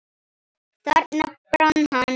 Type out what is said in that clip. Þarna brann hann.